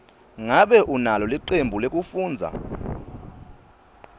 ngabe unalo licembu lekufundza